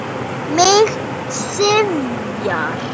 Mig syfjar.